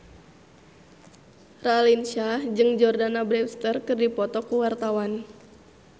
Raline Shah jeung Jordana Brewster keur dipoto ku wartawan